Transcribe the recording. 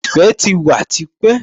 Ẹ̀fẹ̀ ti wà tipẹ́